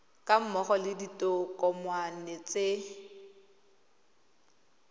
ga mmogo le ditokomane tse